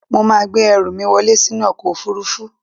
Mo máa gbé ẹrù mí wọlẹ́ sínú ọkọ̀ òfurufú.